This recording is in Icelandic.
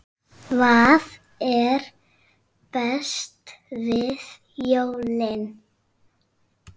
Hvað er best við jólin?